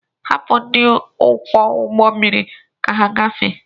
Hapụ ndị ọkwọ ụgbọmmiri ka ha gafee!